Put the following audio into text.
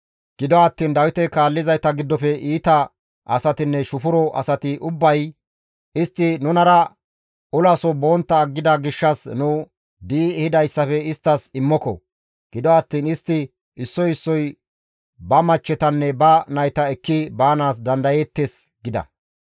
Gido attiin Dawite kaallizayta giddofe iita asatinne shufuro asati ubbay, «Istti nunara olaso bontta aggida gishshas nu di7i ehidayssafe isttas immoko; gido attiin istti issoy issoy ba machchetanne ba nayta ekki baanaas dandayeettes» gida.